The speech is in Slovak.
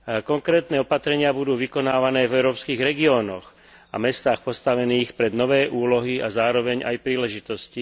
Konkrétne opatrenia budú vykonávané v európskych regiónoch a mestách postavených pred nové úlohy a zároveň aj príležitosti.